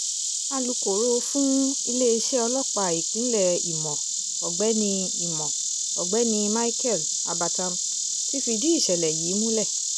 alūkòro fún iléeṣẹ́ ọlọ́pàá ìpínlẹ̀ ìmọ̀ ọ̀gbẹ́ni ìmọ̀ ọ̀gbẹ́ni micheal abatam ti fìdí ìṣẹ̀lẹ̀ yìí múlẹ̀